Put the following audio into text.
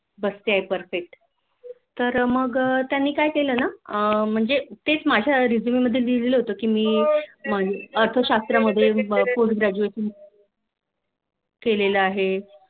बसतेय Perfect तर मग त्यानीं काय केले ना अह म्हणजे माझ्या Resume मध्ये कि मी अर्थशास्त्रात मध्ये Post Graduation केलेलं आहे बसतेय Perfect